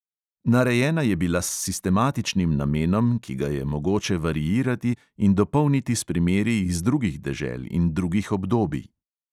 Narejena je bila s sistematičnim namenom, ki ga je mogoče variirati in dopolniti s primeri iz drugih dežel in drugih obdobij.